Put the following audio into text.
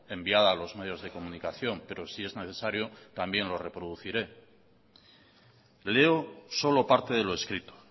enviada a los medios de comunicación pero si es necesario también lo reproduciré leo solo parte de lo escrito